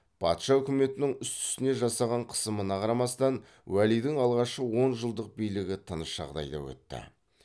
патша өкіметінің үсті үстіне жасаған қысымына қарамастан уәлидің алғашқы он жылдық билігі тыныш жағдайда өтті